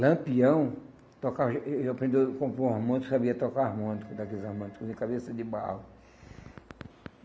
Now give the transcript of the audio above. Lampião, eh eu aprendi a compor harmônico, sabia tocar harmônico, daqueles harmônicos de cabeça de barro.